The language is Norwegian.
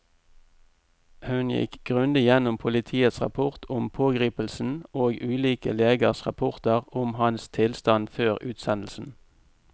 Hun gikk grundig gjennom politiets rapport om pågripelsen og ulike legers rapporter om hans tilstand før utsendelsen.